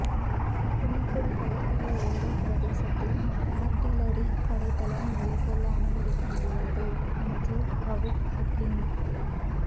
புன்னைக்குடா கடற்கரையோர பிரதேசத்தில் ஆர்ட்டிலறி படைத்தளம் நிலை கொள்ள அனுமதிக்க முடியாது அமைச்சர் றவூப் ஹக்கீம்